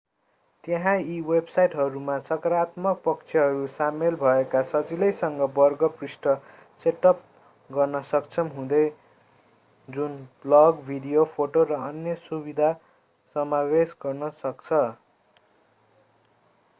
त्यहाँ यी वेबसाइटहरूमा सकारात्मक पक्षहरू सामेल भएका सजिलैसँग वर्ग पृष्ठ सेटअप गर्न सक्षम हुँदै जुन ब्लग भिडियो फोटो र अन्य सुविधा समावेश गर्न सक्छ